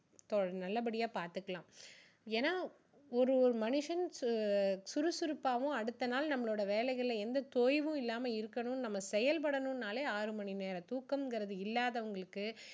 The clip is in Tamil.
நல்லபடியா பார்த்துக்கலாம் ஏன்னா ஒரு மனுஷன் அஹ் சு~சுறுசுறுப்பாவும் அடுத்த நாள் நம்மளோட வேலைகளில எந்த தோய்வும் இல்லாம இருக்கணும் நம்ம செயல்படணும்னாலே ஆறு மணி நேரம் தூக்கங்குறது இல்லாதவங்களுக்கு